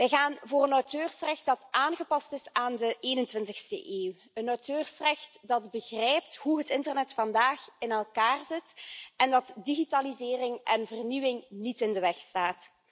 Wij gaan voor een auteursrecht dat aangepast is aan de 21e eeuw, een auteursrecht dat begrijpt hoe het internet vandaag in elkaar zit en dat digitalisering en vernieuwing niet in de weg staat.